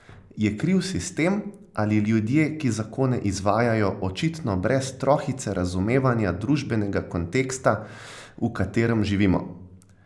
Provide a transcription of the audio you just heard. Je kriv sistem ali ljudje, ki zakone izvajajo, očitno brez trohice razumevanja družbenega konteksta, v katerem živimo?